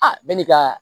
A bɛ n'i ka